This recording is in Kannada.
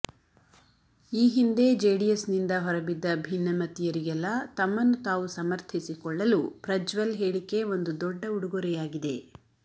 ಈ ಹಿಂದೆ ಜೆಡಿಎಸ್ನಿಂದ ಹೊರ ಬಿದ್ದ ಭಿನ್ನಮತೀಯರಿಗೆಲ್ಲ ತಮ್ಮನ್ನು ತಾವು ಸಮರ್ಥಿಸಿಕೊಳ್ಳಲು ಪ್ರಜ್ವಲ್ ಹೇಳಿಕೆ ಒಂದು ದೊಡ್ಡ ಉಡುಗೊರೆಯಾಗಿದೆ